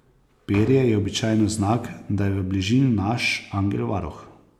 Perje je običajno znak, da je v bližini naš angel varuh.